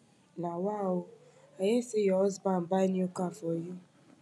nawa oo i hear say your husband buy new car for you